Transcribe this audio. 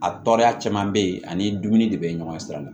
A tɔɔrɔya caman be yen ani dumuni de be ɲɔgɔn sira la